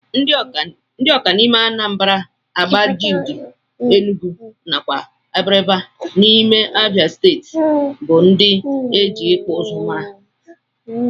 Ndi ọka n'ime anambra, agbaja udi enugu nakwa abriba n'ime abia stetii bu ndi eji ikpụ ụzụ mara.